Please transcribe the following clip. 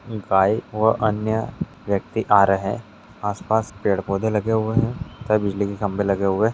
Bike और अन्य व्यक्ति आ रहे हैं आसपास पेड़-पौधे लगे हुए हैं और बिजली के खंभे लगे हुए हैं।